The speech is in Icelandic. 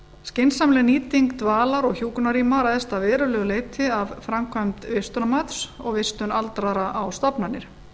skynsamleg nýting dvalar og hjúkrunarrýma ræðst að verulegu leyti af framkvæmd vistunarmats og vistun aldraðra á stofnanir